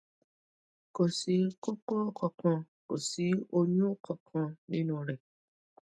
kò sí koko kankan kò sí oyun kankan nínú rẹ